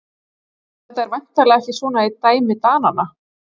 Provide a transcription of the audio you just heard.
Þetta er væntanlega ekki svona í dæmi Dananna?